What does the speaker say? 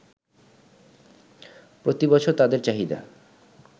প্রতি বছর তাদের চাহিদা